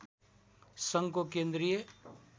सङ्घको केन्द्रीय